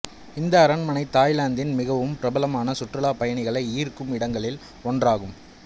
இந்த அரண்மனை தாய்லாந்தின் மிகவும் பிரபலமான சுற்றுலா பயணிகளை ஈர்க்கும் இடங்களில் ஒன்றாகும்